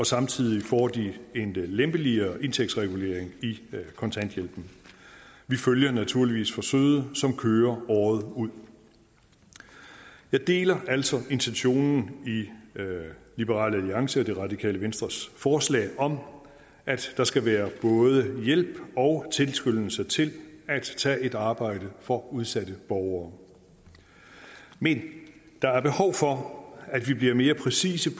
samtidig får de en lempeligere indtægtsregulering i kontanthjælpen vi følger naturligvis forsøget som kører året ud jeg deler altså intentionen i liberal alliance og det radikale venstres forslag om at der skal være både hjælp og tilskyndelse til at tage et arbejde for udsatte borgere men der er behov for at vi bliver mere præcise